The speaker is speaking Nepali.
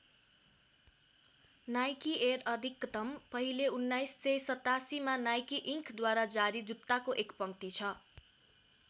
नाइकी एयर अधिकतम पहिले १९८७ मा नाइकी इङ्कद्वारा जारी जुत्ताको एक पङ्क्ति छ।